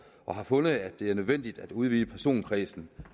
og har fundet at det er nødvendigt at udvide personkredsen